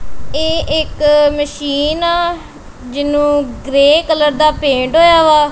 ਇਹ ਇੱਕ ਮਸ਼ੀਨ ਆ ਜਿਹਨੂੰ ਗ੍ਰੇ ਕਲਰ ਦਾ ਪੇਂਟ ਹੋਇਆ ਵਾ।